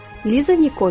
Liza Nikols.